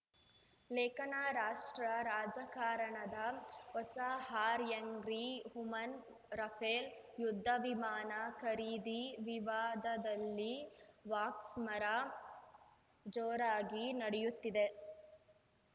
ಲೇಖನ ರಾಷ್ಟ್ರ ರಾಜಕಾರಣದ ಹೊಸ ಹಾಯಂಗ್ರಿ ವುಮನ್‌ ರಫೇಲ್‌ ಯುದ್ಧವಿಮಾನ ಖರೀದಿ ವಿವಾದದಲ್ಲಿ ವಾಕ್ಸ್ಮರ ಜೋರಾಗಿ ನಡೆಯುತ್ತಿದೆ